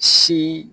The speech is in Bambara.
Si